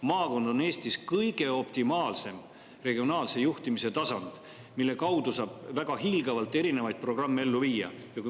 Maakond on Eestis optimaalne regionaalse juhtimise tasand, mille kaudu saab hiilgavalt erinevaid programme ellu viia.